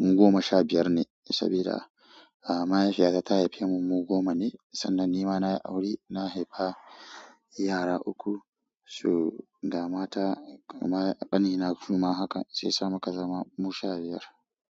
mu goma sha biyar ne, saboda mahaifiyata ta haifemu mu goma ne. Sannan nima nayi aure, na haifi yara uku. So ga mata ƙanina suma haka, sai yasa muka zama mu sha biyar.